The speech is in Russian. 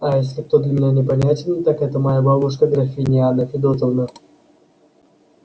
а если кто для меня непонятен так это моя бабушка графиня анна федотовна